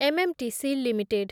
MMTC limited